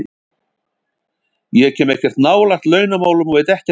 Ég kem ekkert nálægt launamálum og veit ekkert um þau.